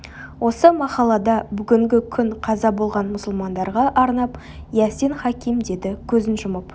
осы махаллада бүгінгі күн қаза болған мұсылмандарға арнап ясин хаким деді көзін жұмып